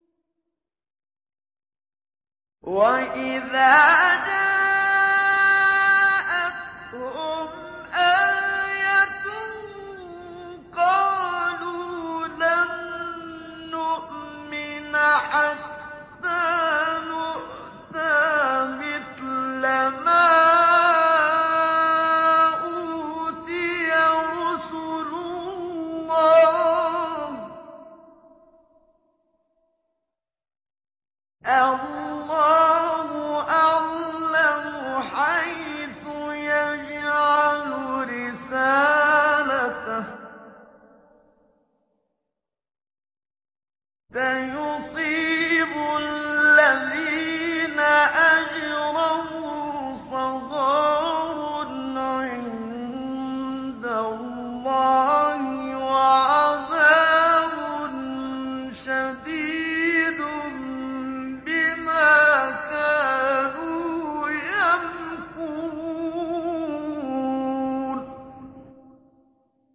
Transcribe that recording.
وَإِذَا جَاءَتْهُمْ آيَةٌ قَالُوا لَن نُّؤْمِنَ حَتَّىٰ نُؤْتَىٰ مِثْلَ مَا أُوتِيَ رُسُلُ اللَّهِ ۘ اللَّهُ أَعْلَمُ حَيْثُ يَجْعَلُ رِسَالَتَهُ ۗ سَيُصِيبُ الَّذِينَ أَجْرَمُوا صَغَارٌ عِندَ اللَّهِ وَعَذَابٌ شَدِيدٌ بِمَا كَانُوا يَمْكُرُونَ